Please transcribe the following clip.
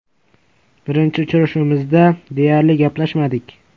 Birinchi uchrashuvimizda deyarli gaplashmadik.